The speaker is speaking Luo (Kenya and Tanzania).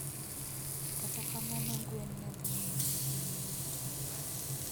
Kata kamano gwen ne dhi nyime nyuolo tong’.